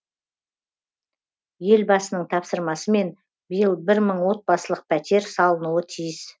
елбасының тапсырмасымен биыл бір мың отбасылық пәтер салынуы тиіс